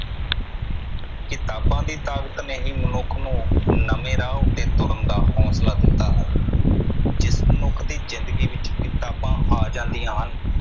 ਕਿਤਾਬਾਂ ਦੀ ਤਾਕਤ ਨੇ ਹੀ ਮਨੁੱਖ ਨੂੰ ਹੀ ਨਵੇਂ ਰਾਹ ਉਤੇ ਤੁਰਨ ਦਾ ਹੌਸਲਾ ਦਿੱਤਾ ਹੈ। ਜਿਸ ਮਨੁੱਖ ਦੀ ਜਿੰਦਗੀ ਵਿਚ ਕਿਤਾਬਾਂ ਆ ਜਾਂਦੀਆਂ ਹਨ